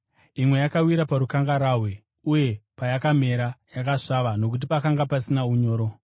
Imwe yakawira parukangarahwe, uye payakamera, yakasvava nokuti pakanga pasina unyoro.